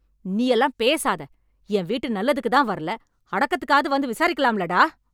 நீயெல்லாம் பேசாத. என் வீட்டு நல்லதுக்கு தான் வரல அடத்துக்கத்துக்காது வந்து விசாரிக்கலாம்ல, டா.